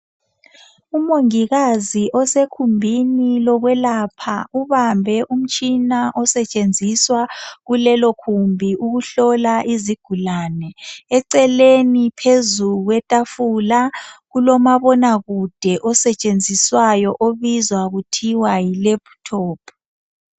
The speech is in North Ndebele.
Umongikazi osekhumbini lokwelapha ubambe umtshina kulelo khumbi ukuhlola izigulane eceleni phezulu kwetafula kulomabonakude osetshenziswayo obizwa kuthiwa yi laptop